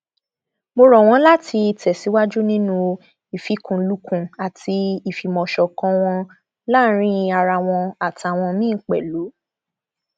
mo rọ wọn láti tẹsíwájú nínú ìfikùnlukùn àti ìfìmọṣọkan wọn láàrin ara wọn àtàwọn míín pẹlú